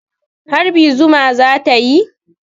Harbi zuma za ta yi.